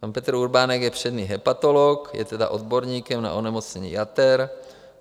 Pan Petr Urbánek je přední hepatolog, je tedy odborníkem na onemocnění jater.